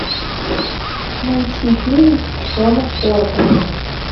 найти фильм джона форда